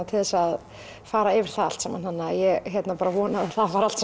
til þess að fara yfir það allt saman ég vona að það fari allt